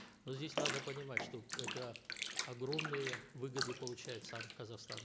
но здесь надо понимать что это огромные выгоды получает сам казахстан